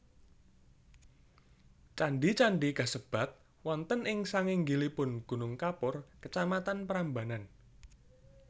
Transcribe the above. Candhi candhi kasebat wonten ing sanginggilipun gunung kapur Kacamatan Prambanan